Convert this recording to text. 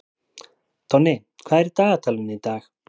Tonni, hvað er í dagatalinu í dag?